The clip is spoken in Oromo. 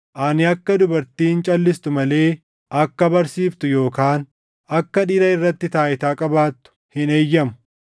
Ani akka dubartiin calʼistu malee akka barsiiftu yookaan akka dhiira irratti taayitaa qabaattu hin eeyyamu.